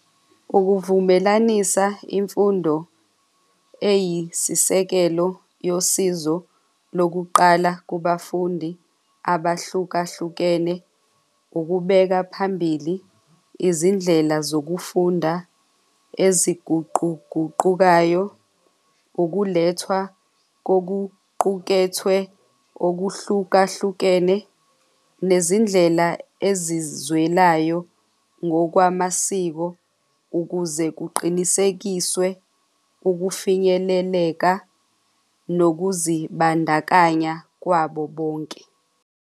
Ukuzivumelanisa imfundo eyisisekelo yosizo lokuqala kubafundi abahlukahlukene ukubeka phambili izindlela zokufunda eziguquguqukayo, ukulethwa kokuqukethwe okuhlukahlukene, nezindlela ezizwelayo ngokwamasiko ukuze kuqinisekiswe ukufinyeleleka nokuzibandakanya kwabo bonke.